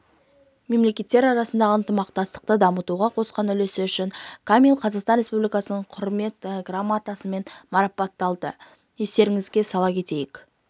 мемлекеттер арасындағы ынтымақтастықты дамытуға қосқан үлесі үшін камил қазақстан республикасының құрмет грамотасымен марапатталды естеріңізге сала кетейік